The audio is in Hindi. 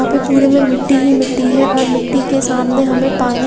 यहाँ पे पुरे में मिट्टी ही मिट्टी है और मिट्टी के सामने हमे पानी--